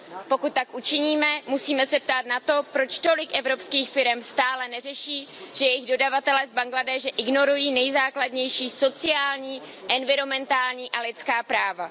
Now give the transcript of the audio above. Pokud tak učiníme, musíme se ptát na to, proč tolik evropských firem stále neřeší, že jejich dodavatelé z Bangladéše ignorují nejzákladnější sociální, environmentální a lidská práva.